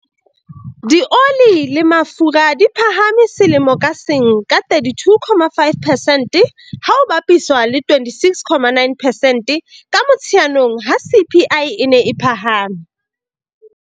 Dioli le mafura di phahame selemo ka seng ka 32.5 percent, ha ho bapiswa le 26.9 percent ka Motsheanong ha CPI e ne e phahama.